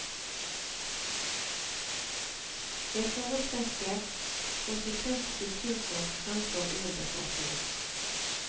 Jeg foretrekker konsekvent kulturfolk framfor urbefolkning.